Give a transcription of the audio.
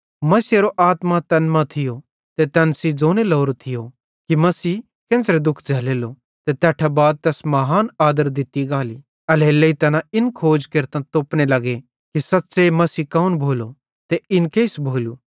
मसीहेरो आत्मा तैन मां थियो ते तैन सेइं ज़ोने लोरो थियो कि मसीहे केन्च़रे दुःख झ़ैल्लेलो ते तैट्ठां बाद तैस महान आदर दित्ती गाली एल्हेरेलेइ तैना इन खोज केरतां तोपने लगे कि सच़्च़े मसीह कौन भोलो ते इन केइस भोलू